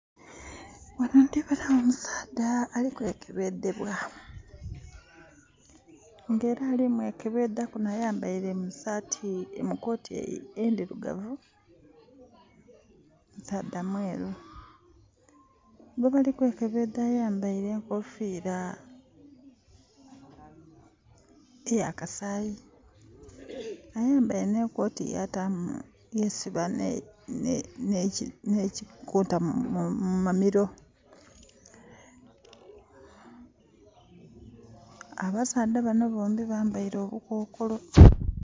Wano ndibonawo omusaadha ali kwekebedhebwa era ali kumwekebedhaku ayambaire koti endirugavu, musaadha mweru. Gwebali kwekebedha ayambaire enkofira eya kasayi. Ayambaire ne koti ya tamu....yesiba nekikota mumamiro. Abasaadha bombi bambaire obukokolo